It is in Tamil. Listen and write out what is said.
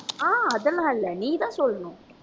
அஹ் அதெல்லாம் இல்லை நீ தான் சொல்லணும்